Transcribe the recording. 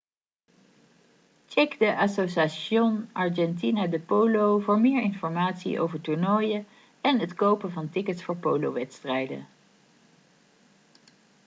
check de asociación argentina de polo voor meer informatie over toernooien en het kopen van tickets voor polowedstrijden